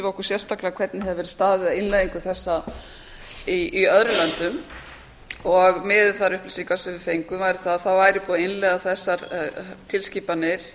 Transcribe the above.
okkur sérstaklega hvernig hefði verið staðið að innleiðingu þessa í öðrum löndum og miðað við þær upplýsingar sem við fengum væri búið að innleiða þessar tilskipanir